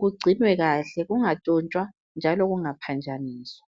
kugcinwe kahle kungatshontshwa njalo kungaphambaniswa.